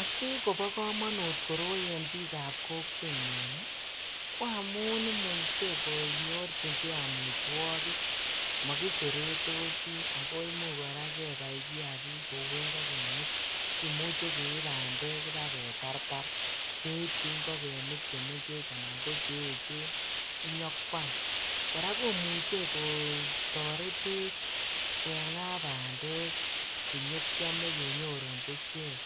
Asikobokomonut koroi en biikab kokwenyun ko amun imuche konyorchike amitwokik, mokiseretosi ak ko imuch kora kebai kiakik kou ing'okenik, kimuche keib bandek ibaketartar, keibchi ing'okenik chemeng'ech anan ko cheechen inyokwam, kora komuche kotoretech keng'aa bandek chenyokiome kenyorun bushek,